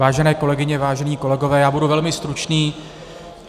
Vážené kolegyně, vážení kolegové, já budu velmi stručný.